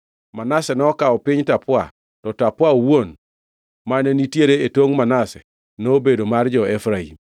Manase nokawo piny Tapua, to Tapua owuon, mane nitiere e tongʼ Manase, nobedo mar jo-Efraim.